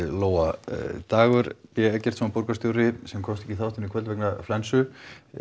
Lóa Dagur b Eggertsson borgarstjóri sem komst ekki í þáttinn í kvöld vegna flensu